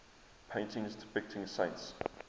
paintings depicting saints